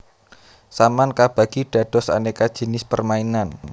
Saman kabagi dados aneka jinis permainan